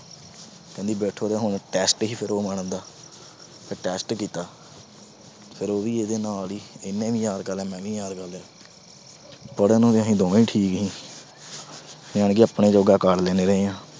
ਕਹਿੰਦੀ ਬੈਠੋ ਤੇ ਫਿਰ test ਸੀ ਉਹ madam ਦਾ। ਫਿਰ test ਕੀਤਾ। ਫਿਰ ਉਹ ਵੀ ਇਹਦੇ ਨਾਲ ਈ, ਇਹਨੇ ਵੀ ਯਾਦ ਕਰ ਲਿਆ, ਮੈਂ ਵੀ ਯਾਦ ਕਰ ਲਿਆ। ਪੜ੍ਹਨ ਨੂੰ ਅਸੀਂ ਦੋਵੇਂ ਠੀਕ ਸੀ। ਯਾਨੀ ਕਿ ਆਪਣੇ ਜੋਗਾ ਕਰ ਲੈਂਦੇ ਰਹੇ ਆ।